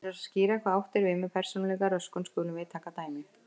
Til þess að skýra hvað átt er við með persónuleikaröskun skulum við taka dæmi.